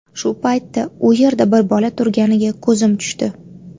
Shu paytda u yerda bir bola turganiga ko‘zim tushdi.